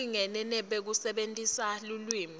lokulingene nekusebentisa lulwimi